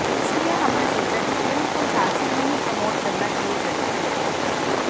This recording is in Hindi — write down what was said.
इसीलिए हमने सोचा कि फिल्म को झांसी से ही प्रमोट करना शरू करते हैं